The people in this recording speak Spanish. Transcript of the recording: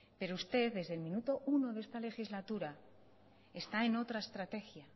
pero usted desde el minuto uno de esta legislatura está en otra estrategia